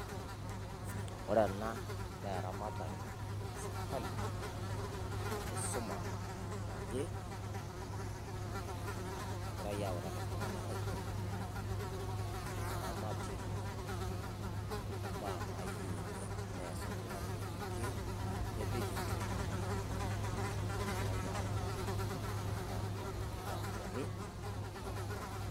Ore ena naa eramatare sirikali enkisuma naje, nagirai autaaki iltung'ana aiteng'en oramatee o baya nayeuni nees oltung'ani aitorokie le dijital agiraa autaaki neterariyani neutakini.